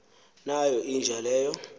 nayo inja leyo